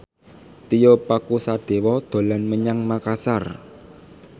Tio Pakusadewo dolan menyang Makasar